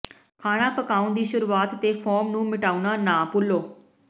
ਖਾਣਾ ਪਕਾਉਣ ਦੀ ਸ਼ੁਰੂਆਤ ਤੇ ਫ਼ੋਮ ਨੂੰ ਮਿਟਾਉਣਾ ਨਾ ਭੁੱਲੋ